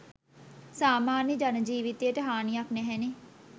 සාමන්‍ය ජනජීවිතයට හානියක් නැහැනෙ.